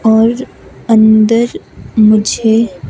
और अंदर मुझे--